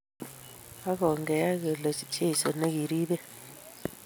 ak ongeyan kole cheso ne kiribech